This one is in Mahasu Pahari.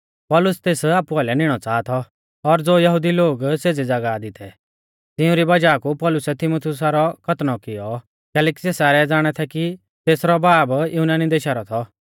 पौलुस तेस आपु आइलै निणौ च़ाहा थौ और ज़ो यहुदी लोग सेज़ी ज़ागाह दी थै तिंउरी वज़ाह कु पौलुसै तीमुथियुसा रौ खतनौ कियौ कैलैकि सै सारै ज़ाणा थै कि तेसरौ बाब युनानी देशा रौ थौ